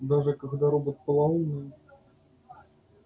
даже когда робот полоумный